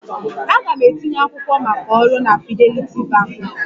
Aga m etinye akwụkwọ maka ọrụ na Fidelity Bank.